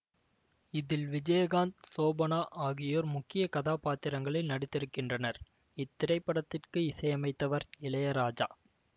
இதில் விஜயகாந்த் ஷோபனா ஆகியோர் முக்கிய கதாபாத்திரங்களில் நடித்திருக்கின்றனர் இத்திரைப்படத்திற்கு இசையமைத்தவர் இளையராஜா